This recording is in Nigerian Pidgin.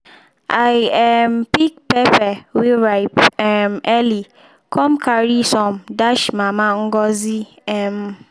i um pick peper wey ripe um early come carry some dash mama ngozi um